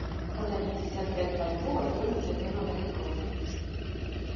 продать пятьдесят пять бальбоа стоимость обмена на биткоин